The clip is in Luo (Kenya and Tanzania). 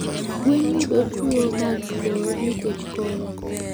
Gwen yudo tuoh mag kor nikech koyo